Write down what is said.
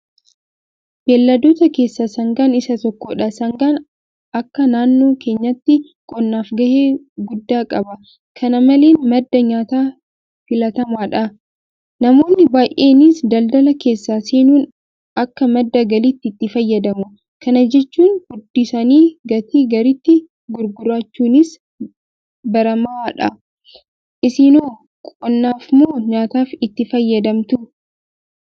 Beelladoota keessaa Sangaan isa tokkodha. Sangaan akka naannoo keenyaatti qonnaaf gahee guddaa qaba. Kana maleen madda nyaataa filatamaadhan. Namoonni baay'eenis daldala keessa seenuun akka madda galiitti itti fayyadamu. Kana jechuun Furdisanii gatii gaariitti gurgurachuunis baramaadha. Isinoo qonnaafmoo nyaataaf itti fayyadamtu?